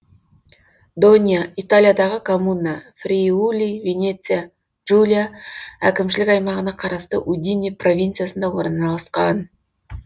донья италиядағы коммуна фриули венеция джулия әкімшілік аймағына қарасты удине провинциясында орналасқан